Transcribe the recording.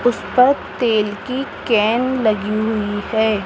उस पर तेल की कैन लगी हुई है।